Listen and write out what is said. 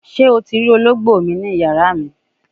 Se o ti ri ologbo mi ni aaro yin?